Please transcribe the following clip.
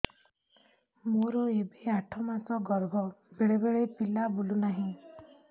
ମୋର ଏବେ ଆଠ ମାସ ଗର୍ଭ ବେଳେ ବେଳେ ପିଲା ବୁଲୁ ନାହିଁ